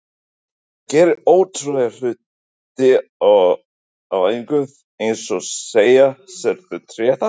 Hann gerir ótrúlega hluti á æfingum eins og að segja: Sérðu tréð þarna?